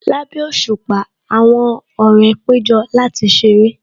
Lábẹ́ òṣùpá, àwọn ọ̀rẹ́ péjọ láti ṣeré